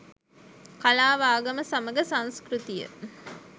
කලාව ආගම සමඟ සංස්කෘතිය